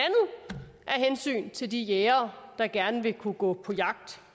hensyn til de jægere der gerne vil kunne gå på jagt